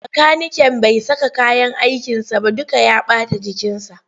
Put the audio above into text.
Makaniken bai saka kayyan aikinsa ba duka ya ɓata jikinsa.